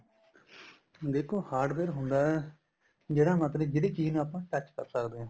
ਦੇਖੋ hardware ਹੁੰਦਾ ਜਿਹੜਾ ਮਤਲਬ ਜਿਹੜੀ ਚੀਜ਼ ਨੂੰ ਆਪਾਂ touch ਕਰ ਸਕਦੇ ਆ